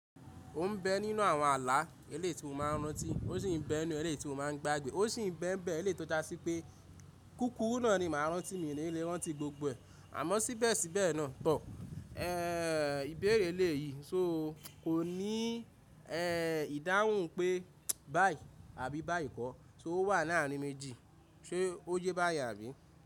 Ó ń bẹ nínú àwọn àlà eléyi ti mo máa rántí ó sì ń bẹ inú eléto ti mo máa ń gbàgbé, ó sì ń bẹ bẹ eléyi to já sí pé kúkúru náà ni màá rántí mi ní lé rántí gbogbo. Àmọ́ síbẹ̀síbẹ̀ náà tọ, ẹ́ ìbéèrè lè yìí so kò ní ẹ́ ìdáhùn pé báì àbí báìkọ́, so owà láàárin méjì, ṣe ó yẹ́ báyen àbí?